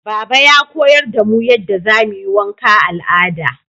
Baba ya koyar da mu yadda zamuyi wanka al'ada